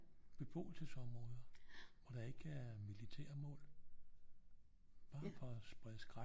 Beboelsesområder hvor der ikke er militærmål bare for at sprede skræk